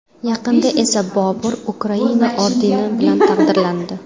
Yaqinda esa Bobur Ukraina ordeni bilan taqdirlandi.